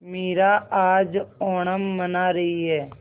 मीरा आज ओणम मना रही है